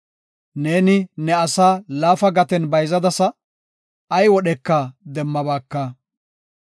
Neeni ne asaa laafa gaten bayzadasa; ay wodheka demmabaaka.